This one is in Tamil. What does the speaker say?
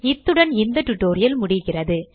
இத்துடன் இந்த டியூட்டோரியல் முடிகிறது